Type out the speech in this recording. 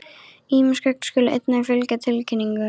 Ýmis gögn skulu einnig fylgja tilkynningu.